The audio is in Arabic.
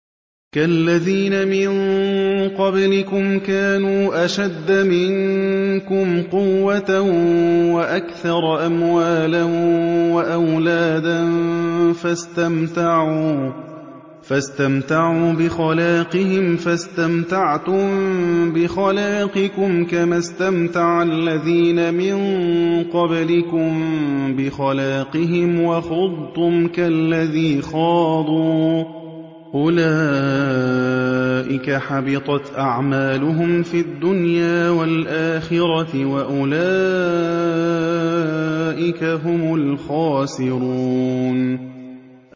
كَالَّذِينَ مِن قَبْلِكُمْ كَانُوا أَشَدَّ مِنكُمْ قُوَّةً وَأَكْثَرَ أَمْوَالًا وَأَوْلَادًا فَاسْتَمْتَعُوا بِخَلَاقِهِمْ فَاسْتَمْتَعْتُم بِخَلَاقِكُمْ كَمَا اسْتَمْتَعَ الَّذِينَ مِن قَبْلِكُم بِخَلَاقِهِمْ وَخُضْتُمْ كَالَّذِي خَاضُوا ۚ أُولَٰئِكَ حَبِطَتْ أَعْمَالُهُمْ فِي الدُّنْيَا وَالْآخِرَةِ ۖ وَأُولَٰئِكَ هُمُ الْخَاسِرُونَ